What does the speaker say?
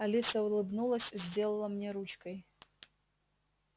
алиса улыбнулась сделала мне ручкой